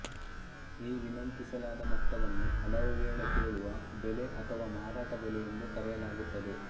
ಈ ವಿನಂತಿಸಲಾದ ಮೊತ್ತವನ್ನು ಹಲವುವೇಳೆ ಕೇಳುವ ಬೆಲೆ ಅಥವಾ ಮಾರಾಟ ಬೆಲೆ ಎಂದು ಕರೆಯಲಾಗುತ್ತದೆ